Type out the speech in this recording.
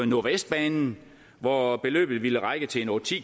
nordvestbanen hvor beløbet ville række til otte ti